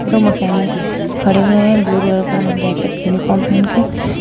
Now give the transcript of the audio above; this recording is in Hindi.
यह मैकेनिक्स खड़े हुए हैं ब्ल्यू कलर का जैकेट यूनिफार्म पहन के।